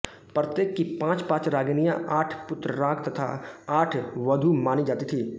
प्रत्येक की पाँचपाँच रागिनियाँ आठ पुत्रराग तथा आठ वधू मानी जाती थीं